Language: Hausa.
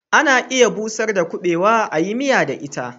Ana iya busar da kuɓewa a yi miya da ita